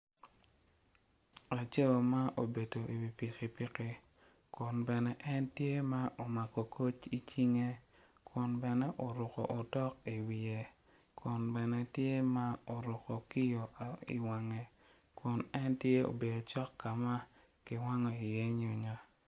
Laco ma obedo i wi pikipiki kun bene en tye ma omako koc i cinge kun bene oruko otok i wiye kun bene tye ma oruko kiyo i wange ken obedo cok ka ma kiwango iye nyonyo.